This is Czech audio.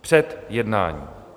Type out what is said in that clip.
Před jednáním.